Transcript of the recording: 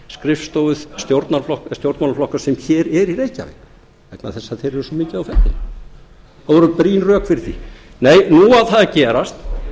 skrifstofu stjórnmálaflokka sem hér eru í reykjavík vegna þess að þeir eru svo mikið á ferðinni það voru brýn rök fyrir því nei nú á það að gerast